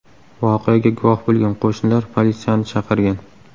Voqeaga guvoh bo‘lgan qo‘shnilar politsiyani chaqirgan.